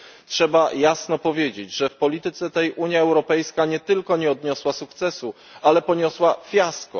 Trzeba jasno powiedzieć, że w polityce tej Unia Europejska nie tylko nie odniosła sukcesu, ale poniosła fiasko.